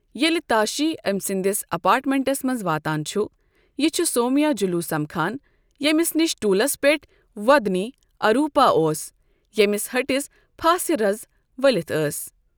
ییٚلہِ تاشی أمۍ سٕنٛدِس اَپارٹمیٚنٛٹس منٛز واتان چُھ، یہِ چُھ سومیاجُلو سمكھان ییٚمِس نِش ٹولس پیٚٹھ وۄدنی اَروٗپا اوس ییٚمِس ہہٹِس پھاسِہ رَز ولتھ ٲس ۔